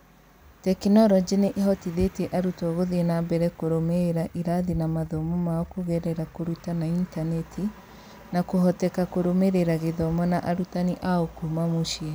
Tekinoronjĩ nĩ ĩhotithĩtie arutwo gũthiĩ na mbere kũrũmĩrĩra irathi na mathomo mao kũgerera kũruta na intaneti, na kũhoteka kũrũmĩrĩra gĩthomo na arutani ao kuuma mũciĩ.